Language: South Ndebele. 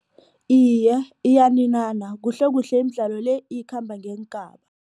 Iye, iyaninana kuhlekuhle imidlalo le ikhamba ngeengaba.